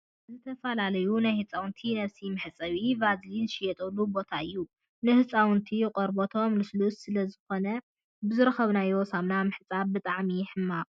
ዝተፈላለዩ ናይ ህፃውንቲ ነብሲ መሕፀቢን ቫዝሊንን ዝሽየጠሉ ቦታ እዩ ። ንህፃውንቲ ቆርበቶም ልሱሉስ ስለ ዝኮነ ብዝረከብናዮ ሳሙና ምሕፃብ ብጣዕሚ ሕማቅ እዩ ።